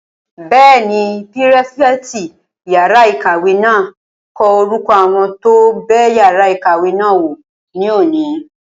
Bẹ́ẹ̀ni, pírífẹ̀tì yàrá-ìkàwé náà n kọ orúkọ àwọn tó bẹ yàrá ìkàwé náà wò ní òní